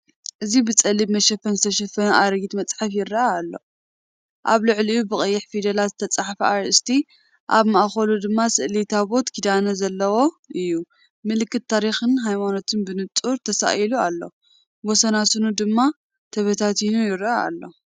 እዚ ብጸሊም መሸፈኒ ዝተሸፈነ ኣረጊት መጽሓፍ ይረአ ኣሎ። ኣብ ልዕሊኡ ብቐይሕ ፊደላት ዝተጻሕፈ ኣርእስቲ፡ ኣብ ማእከሉ ድማ ስእሊ ታቦት ኪዳን ዘለዎ እዩ። ምልክት ታሪኽን ሃይማኖትን ብንጹር ተሳኢሉ ኣሎ፡ ወሰናስኑ ድማ ተበታቲኑ ይረአ ኣሎ።"